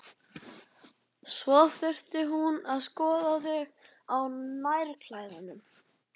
Svo hún þurfti að skoða þig á nærklæðunum!